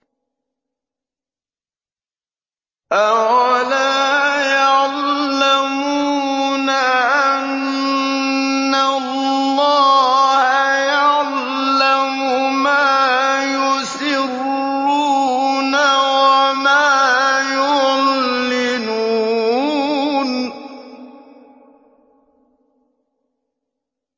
أَوَلَا يَعْلَمُونَ أَنَّ اللَّهَ يَعْلَمُ مَا يُسِرُّونَ وَمَا يُعْلِنُونَ